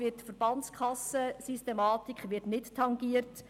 Die Verbandskassensystematik wird nicht tangiert.